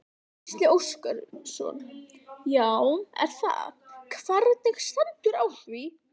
Gísli Óskarsson: Já er það, hvernig stendur á því?